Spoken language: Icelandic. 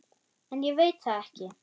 En ég veit það ekki.